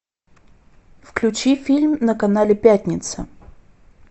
включи фильм на канале пятница